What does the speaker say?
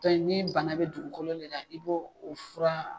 ni bana bɛ dugukolo de la i b' o fura.